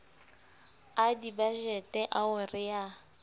a dibajete ao re a